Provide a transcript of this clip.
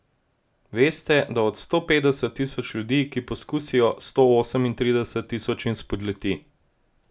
Veste, da od sto petdeset tisoč ljudi, ki poskusijo, sto osemintrideset tisočim spodleti?